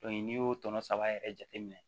n'i y'o tɔnɔ saba yɛrɛ jate minɛ